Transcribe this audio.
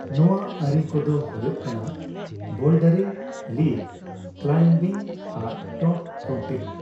ᱱᱚᱣᱟ ᱟᱹᱨᱤ ᱠᱚᱫᱚ ᱦᱳᱭᱳᱜ ᱠᱟᱱᱟ ᱵᱳᱞᱰᱟᱨᱤᱝ, ᱞᱤᱰ ᱠᱞᱟᱭᱤᱢᱵᱤᱝ ᱟᱨ ᱴᱚᱯ ᱨᱳᱯᱤᱝ ᱾